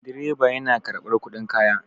Direba yana karɓar kuɗin kaya.